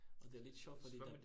Og det er lidt sjovt fordi de